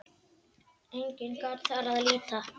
Einnig gat þar að líta